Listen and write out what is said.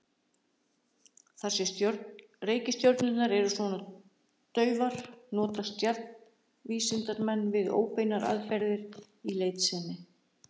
Þar sem reikistjörnurnar eru svona daufar notast stjarnvísindamenn við óbeinar aðferðir í leit sinni.